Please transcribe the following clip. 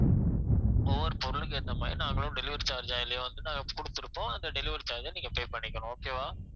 ஒவ்வொரு பொருளுக்கு ஏத்த மாதிரி நாங்களும் delivery charge அதிலேயே வந்து நாங்க குடுத்திருப்போம் அந்த delivery charge அ நீங்க pay பண்ணிக்கனும் okay வா